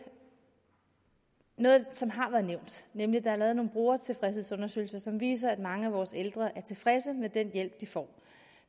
noget som har været nævnt nemlig at der er lavet nogle brugertilfredshedsundersøgelser som viser at mange af vores ældre er tilfredse med den hjælp de får